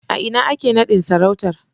A ina ake nadin sarautar?